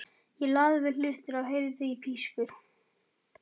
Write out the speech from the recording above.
Ég lagði við hlustir og heyrði pískur.